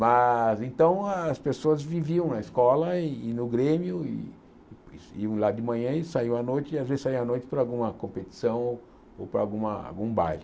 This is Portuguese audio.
Mas então as pessoas viviam na escola e e no Grêmio, e iam lá de manhã e saiam à noite, e às vezes saiam à noite para alguma competição ou ou para alguma algum baile.